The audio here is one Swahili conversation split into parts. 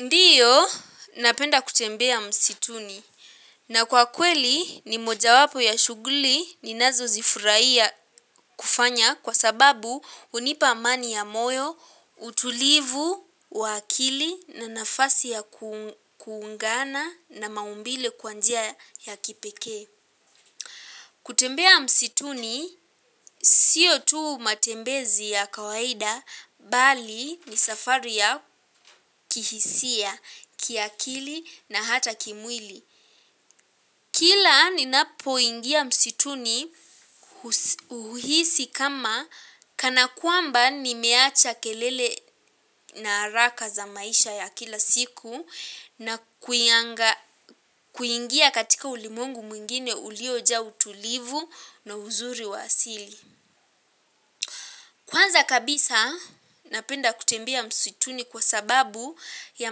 Ndio, napenda kutembea msituni na kwa kweli ni moja wapo ya shughuli ni nazo zifurahia kufanya kwa sababu hunipa mani ya moyo, utulivu, wa akili na nafasi ya kuungana na maumbile kwa njia ya kipekee. Kutembea msituni, sio tuu matembezi ya kawaida bali ni safari ya kihisia, kiakili na hata kimwili. Kila ninapo ingia msituni, huhisi kama kanakwamba nimeacha kelele na haraka za maisha ya kila siku na, kuingia katika ulimwengu mwingine uliojaa utulivu na uzuri wa asili. Kwanza kabisa, napenda kutembea msituni kwa sababu ya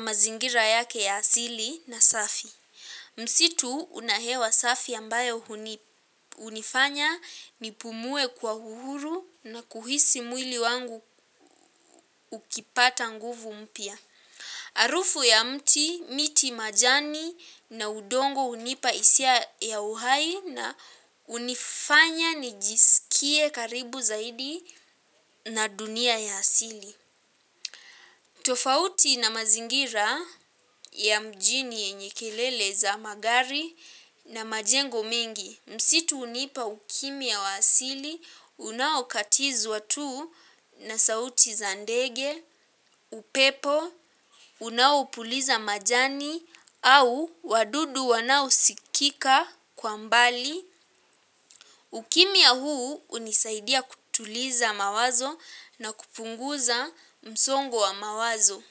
mazingira yake ya asili na safi. Msitu unahewa safi ambayo hunifanya nipumue kwa uhuru na kuhisi mwili wangu ukipata nguvu mpya. Arufu ya mti, miti majani na udongo hunipa isia ya uhai na hunifanya nijisikie karibu zaidi na dunia ya asili. Tofauti na mazingira, ya mjini yenye kelele za magari na majengo mengi, msitu hunipa ukimya wa asili unaokatizwa tu na sauti za ndege, upepo, unao puliza majani au wadudu wanao sikika kwa mbali, ukimya huu unisaidia kutuliza mawazo na kupunguza msongo wa mawazo.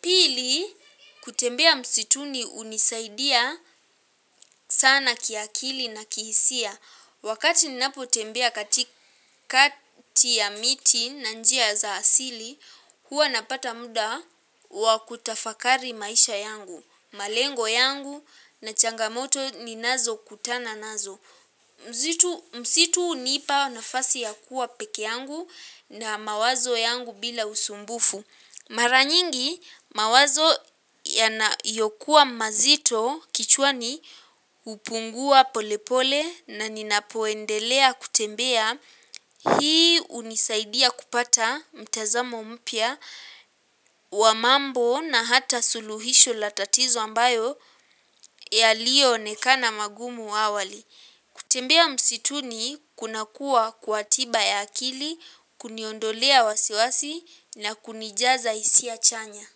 Pili, kutembea msituni hunisaidia sana kiakili na kihisia. Wakati ni napo tembea katikati ya miti na njia za asili, huwa napata muda wa kutafakari maisha yangu, malengo yangu na changamoto ninazo kutana nazo. Msitu, msitu hunipa nafasi ya kuwa peke yangu na mawazo yangu bila usumbufu. Maranyingi mawazo yanayokuwa mazito kichwani hupungua polepole na ninapoendelea kutembea, hii unisaidia kupata mtazamo mpya wa mambo na hata suluhisho la tatizo ambayo yaliyo onekana magumu awali. Kutembea msituni kuna kuwa kwa tiba ya akili, kuniondolea wasiwasi na kunijaza hisia chanya.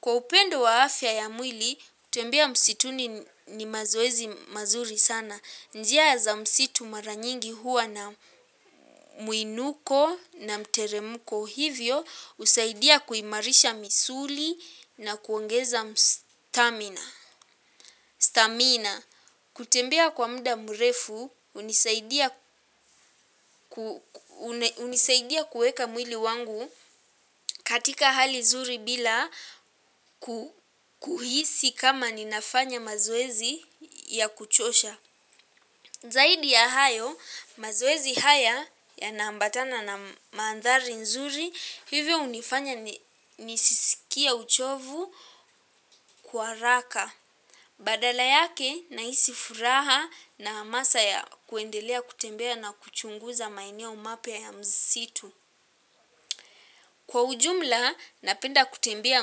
Kwa upendo wa afya ya mwili, kutembea msituni ni mazoezi mazuri sana. Njia za msitu maranyingi huwa na muinuko na mteremuko hivyo, husaidia kuimarisha misuli na kuongeza stamina. Stamina, kutembea kwa mda mrefu, hunisaidia kueka mwili wangu katika hali zuri bila kuhisi kama ninafanya mazoezi ya kuchosha. Zaidi ya hayo, mazoezi haya yanaambatana na mandhari nzuri, hivyo hunifanya nisisikie uchovu kwa haraka. Badala yake, nahisi furaha na hamasa ya kuendelea kutembea na kuchunguza maeneo mapya ya msitu. Kwa ujumla napenda kutembea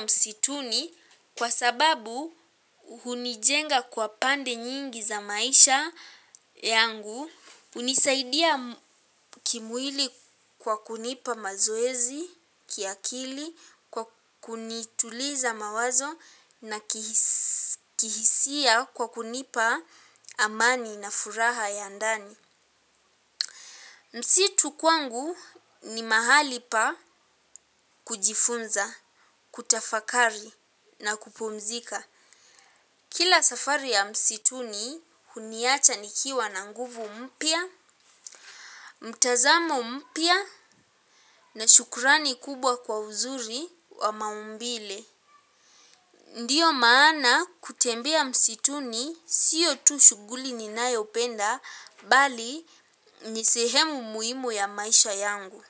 msituni kwa sababu hunijenga kwa pande nyingi za maisha yangu, hunisaidia, kimwili kwa kunipa mazoezi, kiakili, kwa kunituliza mawazo na kihisia, kihisia kwa kunipa amani na furaha ya ndani. Msitu kwangu ni mahali pa kujifunza, kutafakari na kupumzika. Kila safari ya msituni huniacha nikiwa na nguvu mpya, mtazamo mpya na shukrani kubwa kwa uzuri wa maumbile. Ndio maana kutembea msituni siyo tu shughuli ninayopenda bali, ni sehemu muhimu ya maisha yangu.